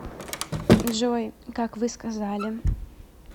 джой как вы сказали